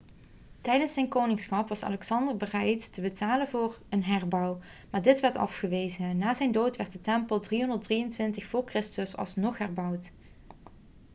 tijdens zijn koningschap was alexander bereid te betalen voor een herbouw maar dit werd afgewezen na zijn dood werd de tempel in 323 voor christus alsnog herbouwd